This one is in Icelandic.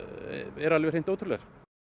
er alveg hreint ótrúlegt